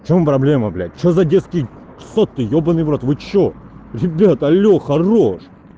в чем проблема блять что за детский сад ты йобаный в рот вы что ребят алло хорошо